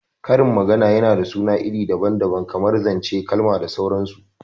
Karin magana yana da suna iri daban daban kamar zanc, kalamai da sauran su